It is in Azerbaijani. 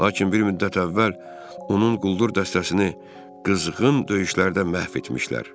Lakin bir müddət əvvəl onun quldur dəstəsini qızğın döyüşlərdə məhv etmişdilər.